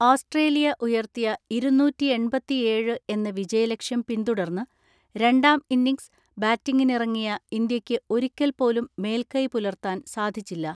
Australia ഉയർത്തിയ ഇരുന്നൂറ്റിഎൺപതിഏഴ് എന്ന വിജയലക്ഷ്യം പിന്തുടർന്ന് രണ്ടാം ഇന്നിംഗ്സ് ബാറ്റിംഗിനിറങ്ങിയ ഇന്ത്യയ്ക്ക് ഒരിക്കൽ പോലും മേൽക്കൈ പുലർത്താൻ സാധിച്ചില്ല.